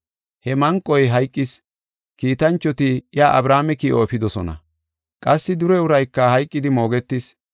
“He manqoy hayqis; kiitanchoti iya Abrahaame ki7o efidosona. Qassi dure urayka hayqidi moogetis.